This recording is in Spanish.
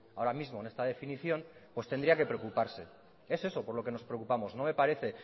ahora mismo en esta definición pues tendría que preocuparse es eso por lo que nos preocupamos no me parece